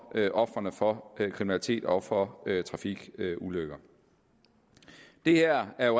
ofrene for kriminalitet og for trafikulykker det her er